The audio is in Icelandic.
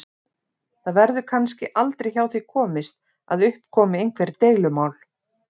Það verður kannski aldrei hjá því komist að upp komi einhver deilumál.